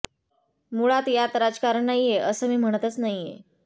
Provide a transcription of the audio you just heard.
मुळात यात राजकारण नाहीये असं मी म्हणतच नाहीये